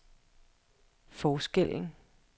forskellen